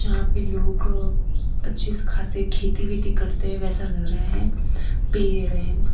यहां पे लोग अच्छे से खासे खेती वेती करते हैं वैसा लग रहा है पेड़ है।